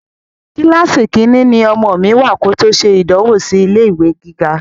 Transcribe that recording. Kíláàsì Kínní ni ọmọ mi wá kòtò ṣe ìdánwò sì ilé ìwé gíga